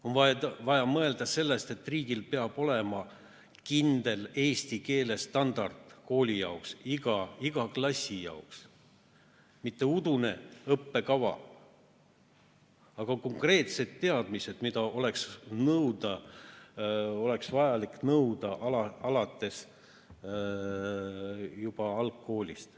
On vaja mõelda sellest, et riigil peab olema kindel eesti keele standard kooli jaoks, iga klassi jaoks – mitte udune õppekava, vaid konkreetsed teadmised, mida on vaja nõuda juba alates algkoolist.